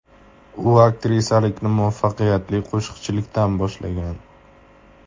U aktrisalikni muvaffaqiyatli qo‘shiqchilikdan boshlagan.